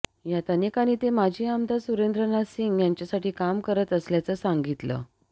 यात अनेकांनी ते माजी आमदार सुरेंद्र नाथ सिंग यांच्यासाठी काम करत असल्याचं सांगितलं